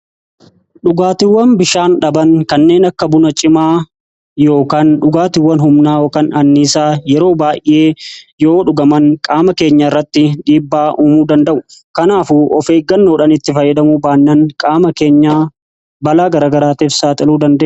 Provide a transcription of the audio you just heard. Dhugaatiiwwan bishaan dhaban kanneen akka buna cimaa yookaan dhugaatiiwwan humnaa kan anniisaa yeroo baay'ee yoo dhugaman qaama keenya irratti dhiibbaa uumuu danda'u. Kanaafuu ofeeggannoodhaan itti fayyadamuu baannaan qaama keenya balaa gara garaatiif saaxiluu danda'u.